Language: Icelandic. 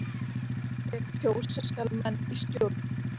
ef kjósa skal menn í stjórn.